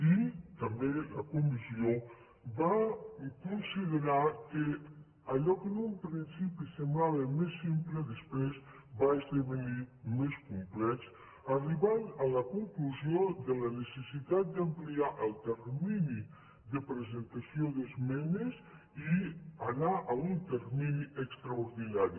i també la comissió va considerar que allò que en un principi semblava més simple després va esdevenir més complex i es va arribar a la conclusió de la necessitat d’ampliar el termini de presentació d’esmenes i anar a un termini extraordinari